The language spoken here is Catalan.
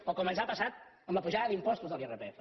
o com ens ha passat amb la pujada d’impostos de l’irpf